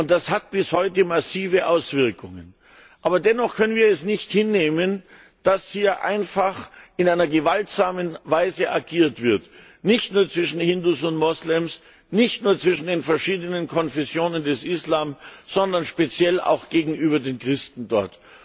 Das hat bis heute massive Auswirkungen. Dennoch können wir es nicht hinnehmen, dass hier einfach in gewaltsamer Weise agiert wird, nicht nur zwischen Hindus und Moslems, nicht nur zwischen den verschiedenen Konfessionen des Islam, sondern speziell auch gegenüber den Christen dort.